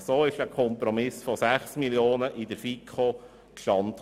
So kam in der FiKo der Kompromiss von 6 Mio. Franken zustande.